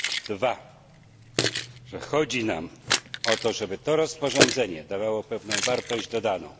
Po drugie chodzi nam o to, żeby to rozporządzenie dawało pewną wartość dodaną.